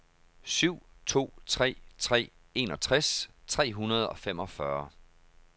syv to tre tre enogtres tre hundrede og femogfyrre